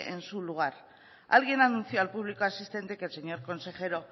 en su lugar alguien anunció al público asistente que el señor consejero